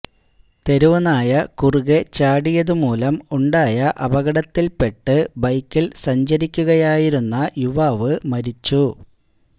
തെരുവു നായ കുറുകെ ചാടിയതുമൂലം ഉണ്ടായ അപകടത്തില് പെട്ട് ബൈക്കില് സഞ്ചരിക്കുകയായിരുന്ന യുവാവ് മരിച്ചു